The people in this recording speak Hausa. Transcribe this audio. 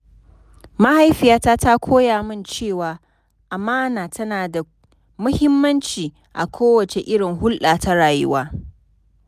Mahaifiyata ta koya min cewa amana tana da mahimmanci a kowace irin hulɗa ta rayuwa..